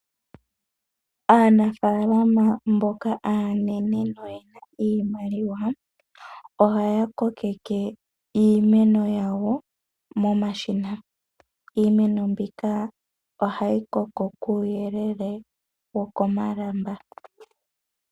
Aanafaalama mboka aanene noyena iimaliwa, ohaya kokeke iimeno yawo momashina. Iimeno mbika ohayi koko kuuyelele wokomalamba.